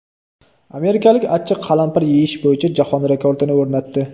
Amerikalik achchiq qalampir yeyish bo‘yicha jahon rekordini o‘rnatdi .